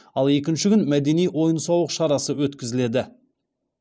ал екінші күн мәдени ойын сауық шарасы өткізіледі